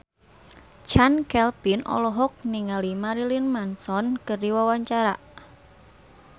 Chand Kelvin olohok ningali Marilyn Manson keur diwawancara